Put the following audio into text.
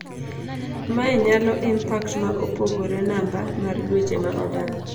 Mae nyalo impact ma opogore namba mar dweche ma olal.